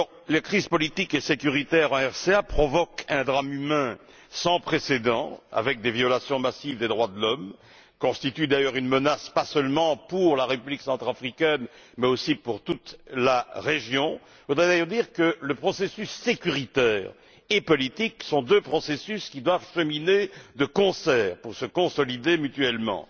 Les crises politiques et sécuritaires en République centrafricaine provoquent un drame humain sans précédent, avec des violations massives des droits de l'homme, qui constitue une menace pas seulement pour la République centrafricaine mais aussi pour toute la région. Je voudrais d'ailleurs dire que les processus sécuritaire et politique sont deux processus qui doivent cheminer de concert pour se consolider mutuellement.